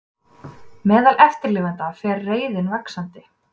Meðal eftirlifenda fer reiðin vaxandi